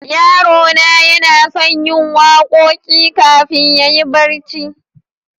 Yarona yana son yin waƙoƙi ƙafin yayi barci.